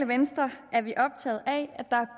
venstre